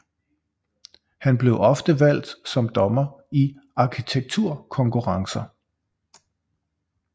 Han blev ofte valgt som dommer i arkitektkonkurrencer